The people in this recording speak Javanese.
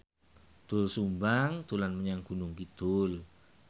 Doel Sumbang dolan menyang Gunung Kidul